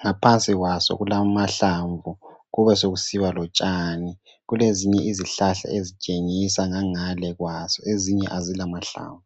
ngaphansi kwaso kulamahlamvu kube sekusiba lotshani kulezinye izihlahla ezitshengisa ngangale kwaso ezinye azila mahlamvu.